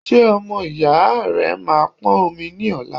Ṣé ọmọ ìyá rẹ máa pọn omi ní ọla?